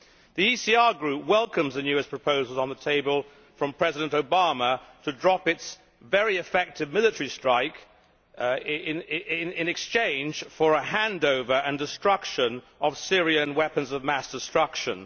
The ECR Group welcomes the newest proposals on the table from President Obama to drop the US plan for a very effective military strike in exchange for the handover and destruction of Syrian weapons of mass destruction.